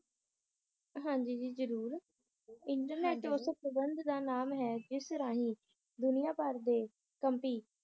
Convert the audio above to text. ਹਾਂਜੀ ਜੀ ਜ਼ਰੂਰ ਇੰਟਰਨੇਟ ਉਸ ਪ੍ਬੰਧ ਦਾ ਨਾਮ ਹੈ ਜਿਸ ਰਾਹੀਂ ਦੁਨੀਆਂ ਭਰ ਦੇ ਕਮਪੀ